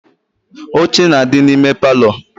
Oche na adi na ime parlour